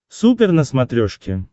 супер на смотрешке